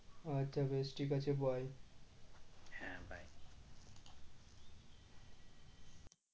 আচ্ছা বেশ ঠিক আছে bye